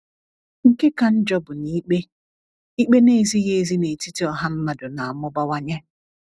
Nke ka njọ bụ na ikpe ikpe na - ezighị ezi n’etiti ọha mmadụ na - amụbawanye.